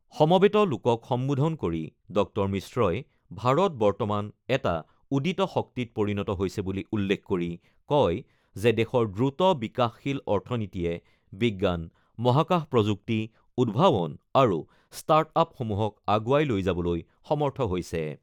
সমবেত লোকক সম্বোধন কৰি ড মিশ্ৰই ভাৰত বৰ্তমান এটা উদিত শক্তিত পৰিণত হৈছে বুলি উল্লেখ কৰি কয় যে, দেশৰ দ্ৰুত বিকাশশীল অৰ্থনীতিয়ে বিজ্ঞান, মহাকাশ প্ৰযুক্তি, উদ্ভাৱন আৰু ষ্টাৰ্ট আপসমূহক আগুৱাই লৈ যাবলৈ সমৰ্থ হৈছে।